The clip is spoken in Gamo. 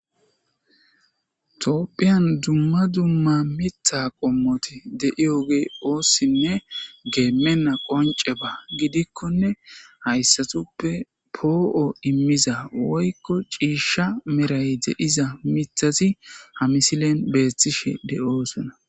Toopphiyan dumma dumma mitha qommoti deiyoge oossinne geemenna qonce ba gidikkone hayssatuppe poo''o immiza woykko ciishsha meray de''iza mithasi hamisilen beethtishe de''osona.